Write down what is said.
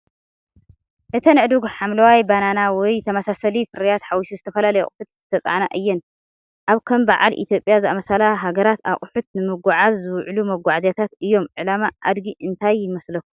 እተን ኣእዱግ ሓምላይ ባናና ወይ ተመሳሳሊ ፍርያት ሓዊሱ ዝተፈላለዩ ኣቑሑት ዝተጻዕና እየን። ኣብ ከም በዓል ኢትዮጵያ ዝኣመሰላ ሃገራት ኣቑሑት ንምጉዕዓዝ ዝውዕሉ መጓዓዝያታት እዮም። ዕላማ ኣድጊ እንታይ ይመስለኩም?